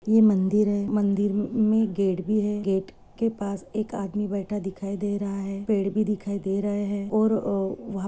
ये मंदिर है। मंदिर मे गेट भी है। गेट के पास एक आदमी बैठा दिखाई दे रहा है। पेड़ भी दिखाई दे रहे है। और वहा पे-